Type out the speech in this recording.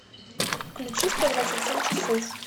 включи сто двадцать семь часов